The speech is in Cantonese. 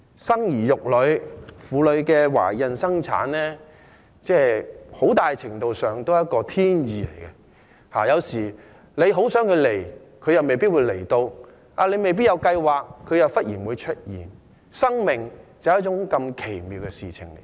生兒育女、婦女懷孕生產，很大程度上也是一種天意，有時候很想有孩子，又未必會有，沒有計劃時，又會忽然出現，生命就是如此奇妙的事情。